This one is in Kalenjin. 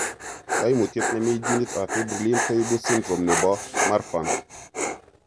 Koimutyet nemii geneit ab fibrillin koibu syndrome nebo Marfan